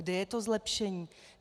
Kde je to zlepšení?